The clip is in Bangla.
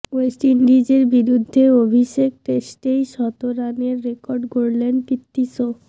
ওয়েস্ট ইন্ডিজের বিরুদ্ধে অভিষেক টেস্টেই শত রানের রেকর্ড গড়লেন পৃথ্বী শো